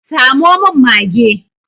Samo min mage!